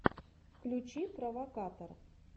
включи провокатор